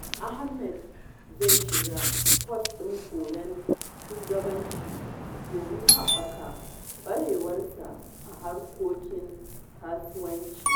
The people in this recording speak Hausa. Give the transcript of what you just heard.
Ahmad zai shiga kwas ɗin koyon shugabanci domin haɓaka ƙwarewarsa a harkokin kasuwanci.